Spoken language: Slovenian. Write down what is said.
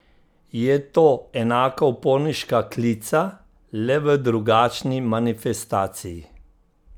Je to enaka uporniška klica, le v drugačni manifestaciji?